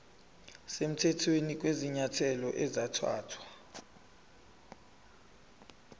semthethweni kwezinyathelo ezathathwa